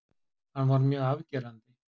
Hann var mjög afgerandi.